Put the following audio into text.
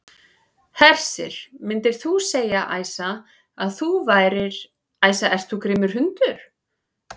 Hersir: Myndir þú segja, Æsa, að þú værir, Æsa ert þú grimmur hundur?